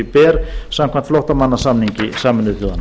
ber samkvæmt flóttamannasamningi sameinuðu þjóðanna